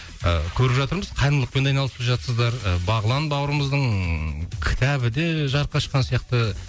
ы көріп жатырмыз қайырымдылықпен айналысып жатырсыздар ы бағлан бауырымыздың кітабы де жарыққа шыққан сияқты